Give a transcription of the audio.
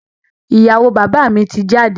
Ìyàwó bàbá mi ti jáde.